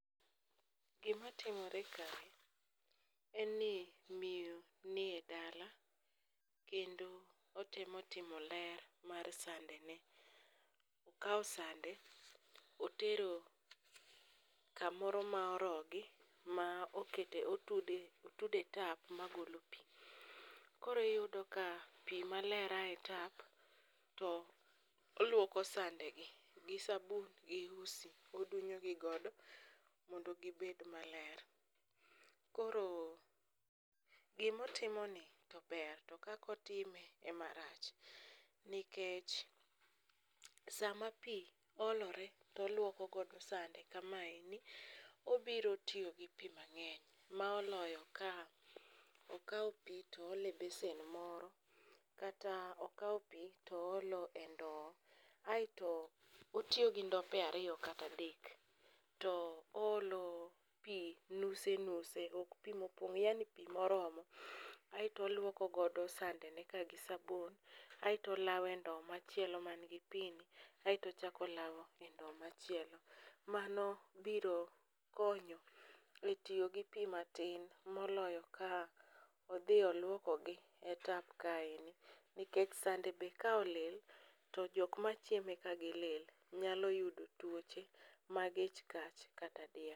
Gimatimore kae en ni miyo nie dala kendo otemo timo ler mar sandene. Okawo sande otero kamoro ma orogi ma otude tap magolo pi. Koro iyudo ka pi maler ae e tap to olwoko sandegi gi sabun gi usi, odunyogi godo mondo gibed maler. Koro gimotimoni to ber to kakotime emarach nikech sama pi olore tolwokogodo sande kamaeni obiro tiyo gi pi mang'eny ma oloyo ka okao pi toolo e besen moro kata okao pi toolo e ndo aeto otiyo gi ndope ariyo kata adek, to oolo pi nuse nuse ok pi mopong' yani pi moromo aeto olwokogodo sandeneka gi sabun aeto olawe ndo machielo man gi pi ni aeto ochako olawe e ndo machielo. Mano birokonyo e tiyo gi pi matin moloyo ka odhi olwokogi e tap kaeni nikech sande be ka olil, to jok machieme ka gilil nyalo yudo tuoche mag ich kach kata diep.